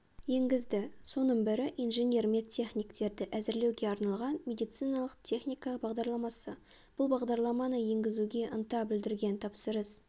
енгізді соның бірі инженер-медтехниктерді әзірлеуге арналған медициналық техника бағдарламасы бұл бағдарламаны енгізуге ынта білдірген тапсырыс